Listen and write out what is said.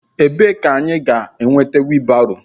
Ebee ka anyị ga-enweta wiilbaro?